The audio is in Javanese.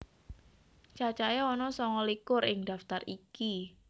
Cacahé ana sanga likur ing daftar iki